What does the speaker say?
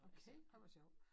Okay ej hvor sjovt